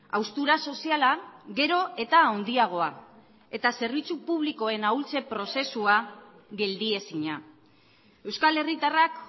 haustura soziala gero eta handiagoa eta zerbitzu publikoen ahultze prozesua geldiezina euskal herritarrak